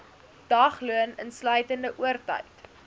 dagloon insluitende oortyd